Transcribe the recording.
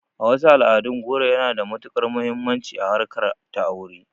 A wasu al'adun, goro yana da matuƙar muhimmanci a harkar ta aure